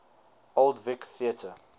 old vic theatre